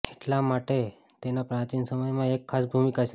એટલા માટે તેના પ્રાચીન સમયમાં એક ખાસ ભૂમિકા છે